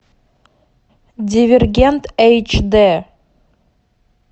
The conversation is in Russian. дивергент эйч дэ